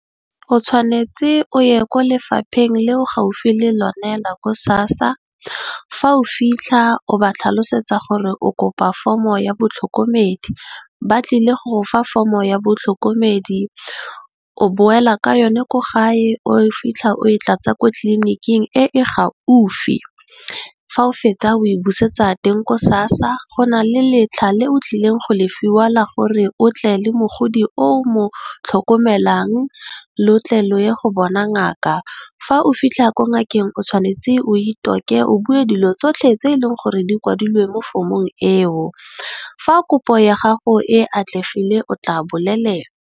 O tshwanetse o ye kwa lefapheng le o leng gaufi le lone la ko SASSA, fa o fitlha o ba tlhalosetsa gore o kopa foromo ya batlhokomedi, ba tlile go go fa foromo ya batlhokomedi, o boela ka yone ko gae o fitlha o e tlatsa ko tlliniking e e gaufi. Fa o fetsa o e busetsa teng ko SASSA. Go na le letlha le o tlileng go le fiwa gore o tle le mogodi o mo tlhokomelang lo tle le ye go bona ngaka. Fa o fitlha ko ngakeng o tshwanetse o itoke o bue dilo tsotlhe tse eleng gore di kwadilwe mo foromong eo fa kopo ya gago e atlegile o tla bolelelwa.